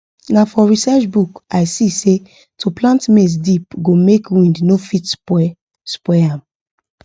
na for research book i see say to plant maize deep go make wind no fit spoil spoil am